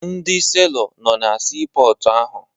Ndị seelọ nọ na siipọọtụ ahụ